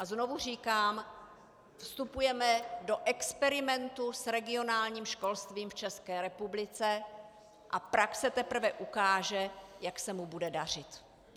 A znovu říkám, vstupujeme do experimentu s regionálním školstvím v České republice a praxe teprve ukáže, jak se mu bude dařit.